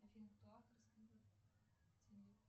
афина кто автор